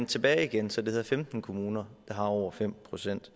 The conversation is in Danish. tilbage igen så det hedder femten kommuner der har over fem procent